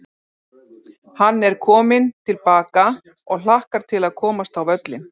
Atli var á gulu spjaldi og var á síðasta séns hjá Einari Erni dómara.